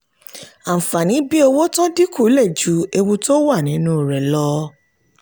àǹfààní bí owó tó dín kù lè ju ewu tó wà nínú rẹ̀ lọ.